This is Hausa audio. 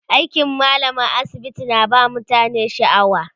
aikin mallamar asibiti na ba mutane shaaw